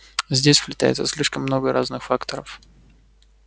здесь сплетается слишком много разных факторов